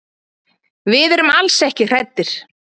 Við erum alls ekki hræddir.